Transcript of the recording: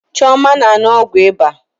Chioma na-aṅụ ọgwụ ịba.